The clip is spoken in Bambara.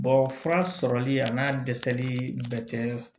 fura sɔrɔli a n'a dɛsɛli bɛɛ tɛ